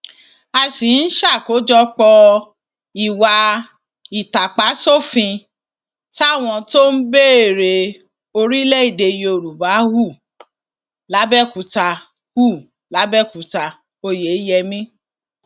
a sì ń ṣàkójọpọ ìwà ìtàpáṣòfin táwọn tó ń béèrè orílẹèdè yorùbá hù làbẹòkútà hù làbẹòkútà oyeyẹmí